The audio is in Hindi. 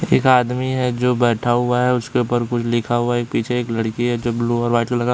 एक आदमी है जो बैठा हुआ है। उसके ऊपर कुछ लिखा हुआ है। पीछे एक लड़की है जो ब्लू और वाइट कलर का--